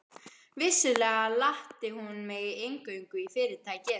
Vissulega latti hún mig inngöngu í Fyrirtækið.